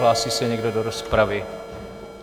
Hlásí se někdo do rozpravy?